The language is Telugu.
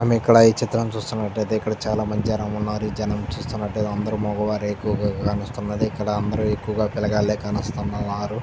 మనం ఇక్కడ ఈ చిత్రం చూస్తున్నటైతే ఇక్కడ చాలా మంది జనం ఉన్నారు ఈ జనం చూస్తున్నటైతే అందరూ మగవారే ఎక్కువుగా కానొస్తున్నది ఇక్కడ అందరూ ఎక్కువుగా పిల్లగాళ్లే కానోస్తు ఉన్నారు.